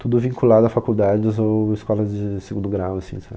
Tudo vinculado a faculdades ou escolas de segundo grau, assim, sabe?